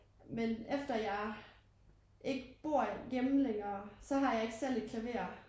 Men efter jeg ikke bor hjemme længere så har jeg ikke selv et klaver